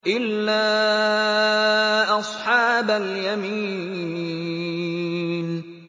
إِلَّا أَصْحَابَ الْيَمِينِ